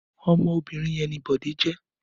Ọmọ obìnrin yẹn ni Bọ̀dé jẹ́.